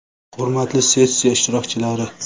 Hurmatli sessiya ishtirokchilari!